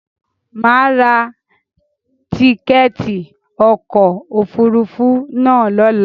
Mà a ra tíkẹ̀ẹ̀ti ọkò òfurufú na lọ́la.